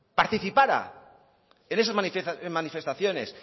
participará en esas manifestaciones